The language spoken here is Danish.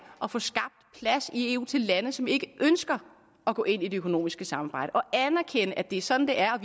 at få skabt plads i eu til lande som ikke ønsker at gå ind i det økonomiske samarbejde og anerkende at det er sådan det er og